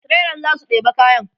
trailan zasu ɗeba kayan